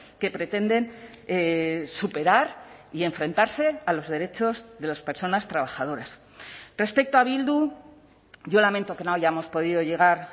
que pretenden superar y enfrentarse a los derechos de las personas trabajadoras respecto a bildu yo lamento que no hayamos podido llegar